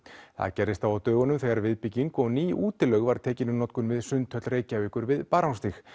það gerðist þó á dögunum þegar viðbygging og ný útilaug var tekin í notkun við Sundhöll Reykjavíkur við Barónsstíg